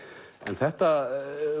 þetta